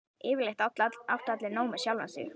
Yfirleitt áttu allir nóg með sjálfa sig.